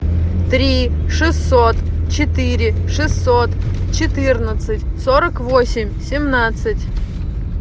три шестьсот четыре шестьсот четырнадцать сорок восемь семнадцать